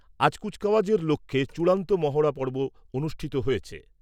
আজ কুচকাওয়াজের লক্ষ্যে চূড়ান্ত মহড়াপর্ব অনুষ্ঠিত হয়েছে।